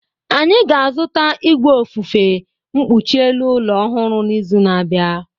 Anyị ga-azụta igwe ofufe mkpuchi elu ụlọ ọhụrụ n'izu na-abịa.